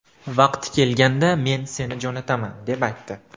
Vaqti kelganda men seni jo‘nataman deb aytdi.